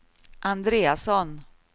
Andreasson